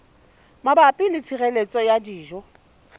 mabapi le tshireletso ya dijo